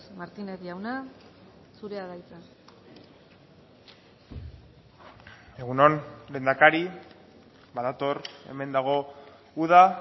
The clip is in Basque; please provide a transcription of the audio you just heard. martínez jauna zurea da hitza egun on lehendakari badator hemen dago uda